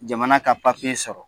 Jamana ka sɔrɔ.